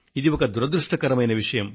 ఇది ఒక దురదృష్టకరమైన విషయం